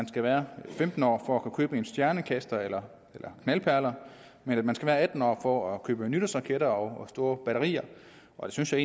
skal være femten år for at kunne købe stjernekastere eller knaldperler men at man skal være atten år for at kunne købe nytårsraketter og store batterier og det synes jeg